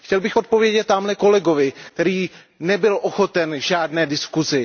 Chtěl bych odpovědět támhle kolegovi, který nebyl ochoten k žádné diskuzi.